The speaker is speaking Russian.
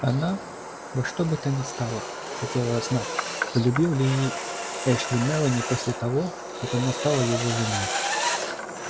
она во что бы то ни стало хотела знать полюбил ли эшли мелани после того как она стала его женой